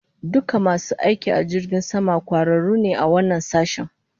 Dukan masu aiki a jirgin sama, kwararu ne a wannan sashin